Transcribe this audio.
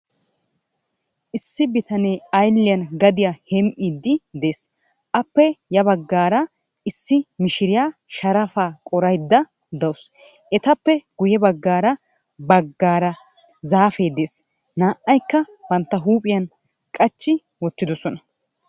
Issi bitanee ayilliyan gadiya hem'iiddi de'ees. Aappe ya baggaara issi mishiriya sharafaa qorayidda dawusu. Etappe guye baggaara baggaara zaafee de'ees. Naa"aykka bantta huuphiyan qachchi wottidosona.